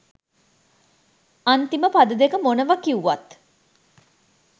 අන්තිම පද දෙක මොනවා කිව්වත්